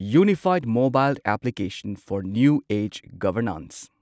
ꯌꯨꯅꯤꯐꯥꯢꯗ mobile application for new age governance